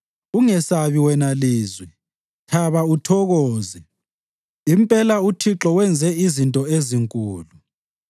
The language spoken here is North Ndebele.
Ungesabi, wena lizwe; thaba uthokoze. Impela uThixo wenze izinto ezinkulu.